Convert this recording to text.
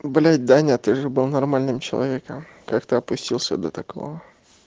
блять даня ты же был нормальным человеком как ты опустился до такого